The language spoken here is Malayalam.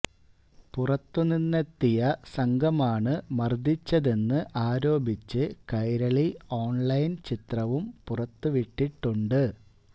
പുറത്തു നിന്നെത്തിയ സംഘമാണ് മർദ്ദിച്ചതെന്ന് ആരോപിച്ച് കൈരളി ഓൺലൈൻ ചിത്രവും പുറത്തു വിട്ടിട്ടുണ്ട്